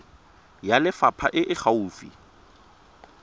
ya lefapha e e gaufi